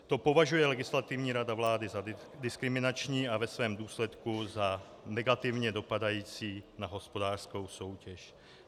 To považuje Legislativní rada vlády za diskriminační a ve svém důsledku za negativně dopadající na hospodářskou soutěž.